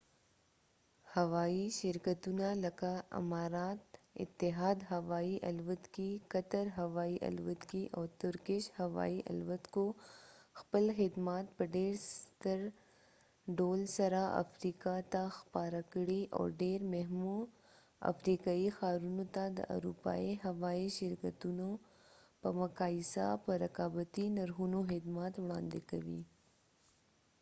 هوایی شرکتونه لکه امارات اتحاد هوایی الوتکې قطر هوایی الوتکې او ترکش هوایی الوتکو خپل خدمات په ډیر ستر ډول سره افریقا ته خپاره کړي او ډیرو مهمو افریقایي ښارونو ته د اروپایي هوایي شرکتونو په مقایسه په رقابتي نرخونو خدمات وړاندې کوي